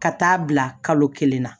Ka taa bila kalo kelen na